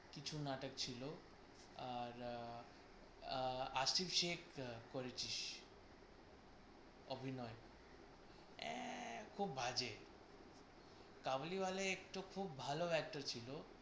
কিছু নাটক ছিল আর আ~ আশিক শেখ করেছিস অভিনয়। আহ খুব বাজে কাবুলিওয়ালা একটো খুব ভালো actor ছিল।